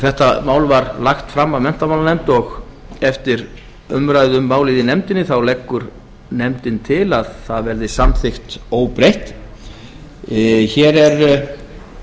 þetta mál var lagt fram af menntamálanefnd og eftir umræðu um málið í nefndinni leggur nefndin til að það verði samþykkt óbreytt hér er